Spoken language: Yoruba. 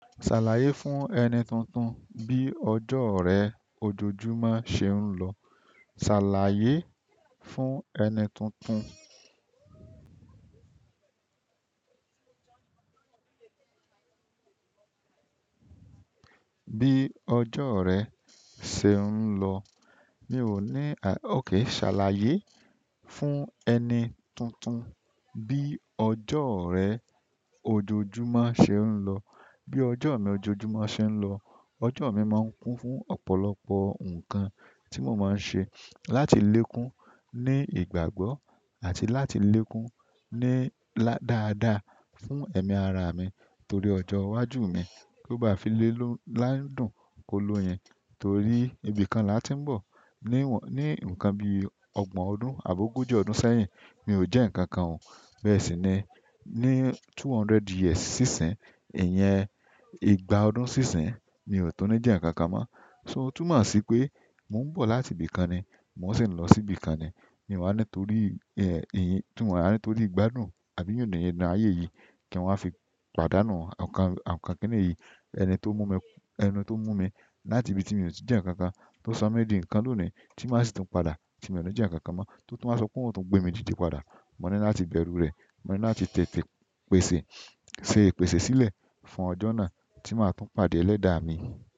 Ṣàlàyé fún ẹni tuntun bí ọjọ́ rẹ ojoojúmọ́ ṣe ń lọ. Ṣàlàyé fún ẹni tuntun bí ọjọ́ rẹ ṣe ń lọ. Mi ò ní, à, okay, ṣàlàyé fún ẹni tuntun bí ọjọ́ rẹ ojoojúmọ́ ṣe ń lọ. Bí ọjọ́ mi ojoojúmọ́ ṣe ń lọ, ọjọ́ mi máa ń kún fún ọ̀pọ̀lọpọ̀ nǹkan tí mo máa ń ṣe láti lékún ní ìgbàgbọ́ àti láti lékún ní là-- dáadáa fún ẹ̀mí ara mi. Torí ọjọ́ iwájú mi, kó ba fi lélòó ládùn kọ́ lóyin. Torí ibìkan la ti ń bọ̀. Ni wọn-- ní ǹnkan bí ọgbọ̀n ọdún àbo ogójì ọdún sẹ́yìn, mi ò jẹ́ ǹnkankan o. Bẹ́ẹ̀ sì ni ní two hundred years sí ìsìn, ìyẹn ìgbà ọdún sí ìsìn, mi ò tún ní jẹ́ ǹnkankan mọ́. So, ó tún mọ̀ sí pé mò ń bọ̀ láti ibìkan ni, mò sì ń lọ sí ibìkan ni. Mi wà nítorí, ẹ́, ìyẹn, mi o wa ni tórí ìgbádùn àbí yindinyindin ayé yìí kí n wa fi pàdánù ọkan, ọkan kìni yìí. Ẹni to mu mi láti ibi ti mi o ti jẹ nnkankan to sọ di nǹkan loni, ti maa si tun padà ti mi ni jẹ nnkankan mọ, to tun wa sope oun o tun gbemi dide padà. Mo ní láti bẹ̀rù rẹ̀, mo ní láti tètè pèsè, ṣe ìpèsè sílẹ̀ fún ọjọ́ náà tí màá tún pàdé ẹlẹ́dàá mi.